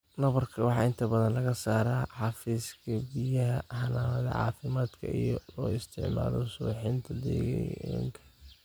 Nabarka waxaa inta badan laga saaraa xafiiska bixiyaha xanaanada caafimaadka iyadoo la isticmaalayo suuxinta deegaanka.